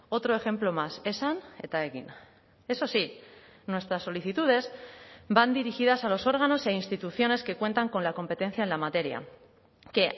otro ejemplo más esan eta egin eso sí nuestras solicitudes van dirigidas a los órganos e instituciones que cuentan con la competencia en la materia que